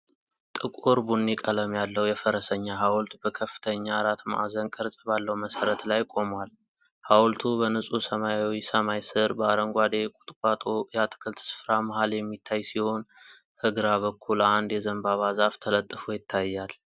ጥቁር ቡኒ ቀለም ያለው የፈረሰኛ ሐውልት በከፍተኛ አራት ማዕዘን ቅርጽ ባለው መሠረት ላይ ቆሟል። ሐውልቱ በንጹህ ሰማያዊ ሰማይ ስር፣ በአረንጓዴ የቁጥቋጦ የአትክልት ስፍራ መሃል የሚታይ ሲሆን፣ ከግራ በኩል አንድ የዘንባባ ዛፍ ተለጥፎ ይታያል።